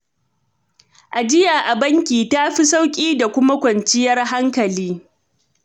Ajiya a banki ta fi sauƙi da kuma kwanciyar hankali